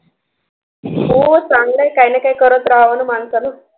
हो चांगलं आहे काही ना काही करत राहावं ना माणसानं